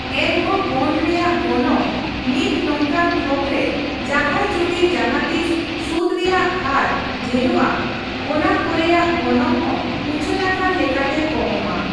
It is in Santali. ᱮᱱᱦᱚᱸ ᱵᱚᱱᱰ ᱨᱮᱭᱟᱝ ᱜᱚᱱᱚᱝ ᱱᱤᱛ ᱱᱚᱝᱠᱟᱱ ᱛᱷᱚᱠᱨᱮ ᱡᱟᱦᱟᱸᱭ ᱡᱩᱫᱤ ᱡᱟᱦᱟᱸᱛᱤᱥ ᱥᱩᱫᱽ ᱨᱮᱭᱟᱜ ᱦᱟᱨ ᱰᱷᱮᱨᱚᱜᱼᱟ ᱚᱱᱟᱠᱚᱨᱮᱭᱟᱜ ᱜᱚᱱᱚᱝ ᱦᱚ ᱩᱪᱷᱟᱱᱟᱠᱟᱱ ᱞᱮᱠᱟᱛᱮ ᱠᱚᱢᱚᱜᱼᱟ ᱾